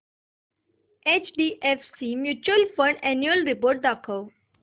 HDFC mutual fund annual report दाखव